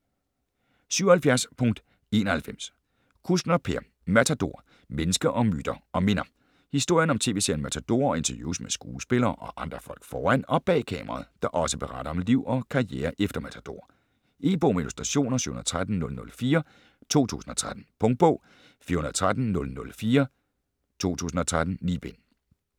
77.91 Kuskner, Per: Matador: mennesker, myter & minder Historien om tv-serien Matador og interviews med skuespillere og andre folk foran og bag kameraet, der også beretter om liv og karriere efter Matador. E-bog med illustrationer 713004 2013. Punktbog 413004 2013. 9 bind.